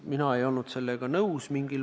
Mina ei olnud sellega nõus.